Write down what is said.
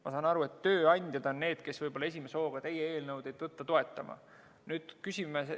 Ma saan aru, et tööandjad on need, kes võib-olla esimese hooga teie eelnõu toetama ei tõtta.